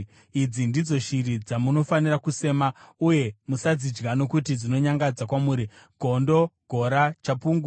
“ ‘Idzi ndidzo shiri dzamunofanira kusema, uye musadzidya nokuti dzinonyangadza kwamuri: gondo, gora, chapungu,